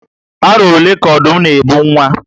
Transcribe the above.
Aro ole ka Ọdụm na ebu nwa?